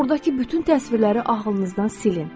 Ordakı bütün təsvirləri ağlınızdan silin.